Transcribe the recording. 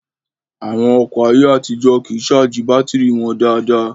Àwọn ọkọ̀ ayé àtijó kìí ṣáàjì bátìrì wọn dáadáa